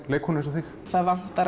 leikkonu eins og þig það vantar